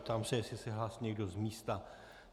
Ptám se, jestli se hlásí někdo z místa.